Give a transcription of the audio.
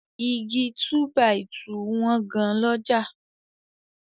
Igi túbàìtuùti wọ́n gan lọ́jà.